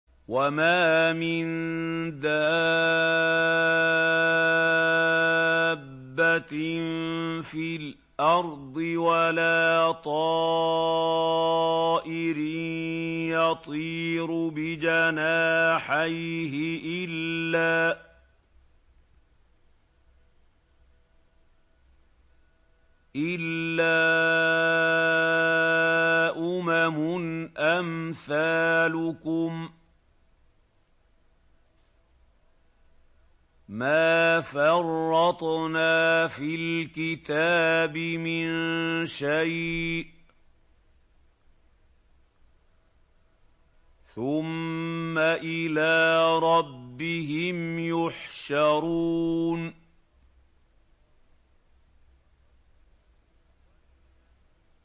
وَمَا مِن دَابَّةٍ فِي الْأَرْضِ وَلَا طَائِرٍ يَطِيرُ بِجَنَاحَيْهِ إِلَّا أُمَمٌ أَمْثَالُكُم ۚ مَّا فَرَّطْنَا فِي الْكِتَابِ مِن شَيْءٍ ۚ ثُمَّ إِلَىٰ رَبِّهِمْ يُحْشَرُونَ